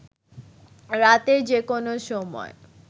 রাতের যে কোন সময়